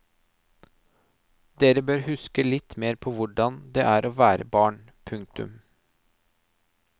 Dere bør huske litt mer på hvordan det er å være barn. punktum